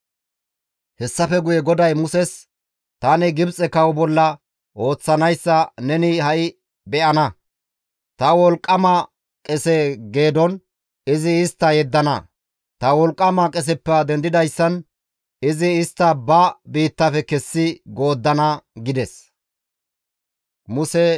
Hessafe guye GODAY Muses, «Tani Gibxe kawo bolla ooththanayssa neni ha7i beyana; ta wolqqama qese gaason izi istta yeddana; ta wolqqama qeseppe dendidayssan izi istta ba biittafe kessi gooddana» gides.